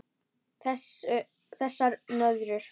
Þessar nöðrur!